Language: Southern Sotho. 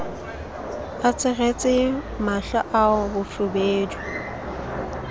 a tsweretse mahlo ao bofubedu